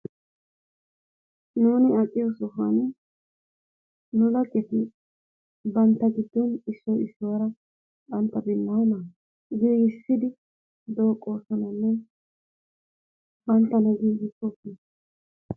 Nuuni aqqiyo sohuwan nu laggeti bantta giddon issoy issuwaara bantta binaana le''issid dooqqosonanne bantta meduwa erissosona..